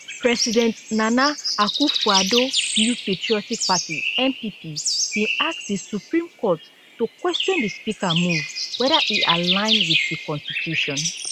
president nana akufoaddo new patriotic party npp bin ask di supreme court to question di speaker move weather e align wit di constitution